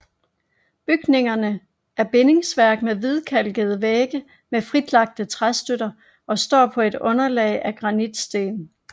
Bygningerne er bindingsværk med hvidkalkede vægge med fritlagte træstøtter og står på et underlag af granitsten